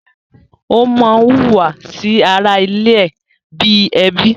Ó má hùwà sí ara ilé ẹ̀ bi ẹbí